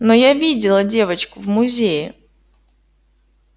но я видела девочку в музее